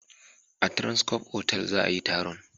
A Transcorp otal za a yi taron